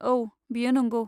औ, बेयो नंगौ।